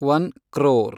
one crore